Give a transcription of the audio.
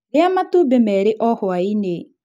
Rĩa matumbĩ merĩ o hwai-inĩ